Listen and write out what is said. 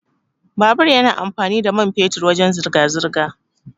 Babur yana amfani da mai fetur wajan zirga-zirga.